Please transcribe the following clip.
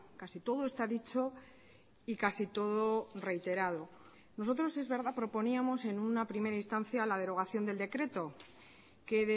casi todo está dicho y casi todo reiterado nosotros es verdad proponíamos en una primera instancia la derogación del decreto que